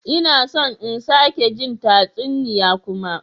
Ina son in sake jin tatsuniya kuma.